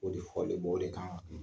O de fɔlen do, o de kan